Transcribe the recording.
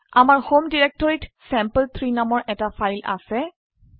আমাৰ হোম ডিৰেক্টৰিত চেম্পল3 নামৰ এটা ফাইল আছে